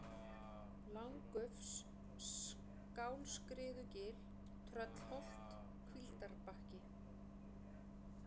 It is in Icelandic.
Langufs, Skálskriðugil, Tröllholt, Hvíldarbakki